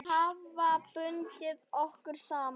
Hafa bundið okkur saman.